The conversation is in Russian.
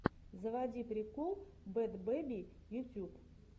заводи прикол бэд бэби ютьюб